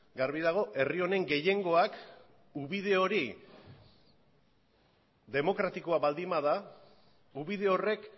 garbi dago herri honen gehiengoak ubide hori demokratikoa baldin bada ubide horrek